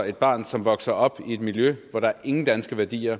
et barn som vokser op i et miljø hvor der ingen danske værdier